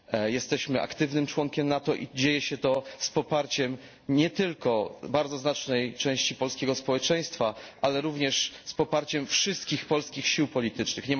Jesteśmy aktywnym członkiem NATO i dzieje się to z poparciem nie tylko bardzo znacznej części polskiego społeczeństwa, ale również z poparciem wszystkich polskich sił politycznych.